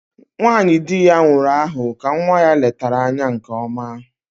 Nwanyị dị ya nwụrụ ahụ ka nwa ya letara anya nke ọma